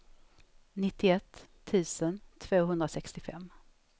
nittioett tusen tvåhundrasextiofem